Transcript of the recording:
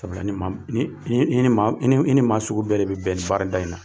Sabula ni maa ni i ni maa sugu bɛɛ de bɛ bɛn ni baarada in na